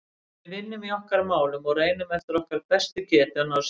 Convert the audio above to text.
Við vinnum í okkar málum og reynum eftir okkar bestu getu að ná sigri.